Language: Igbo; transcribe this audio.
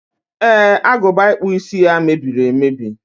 e, agụba ịkpụ isi ya mebiri emebi.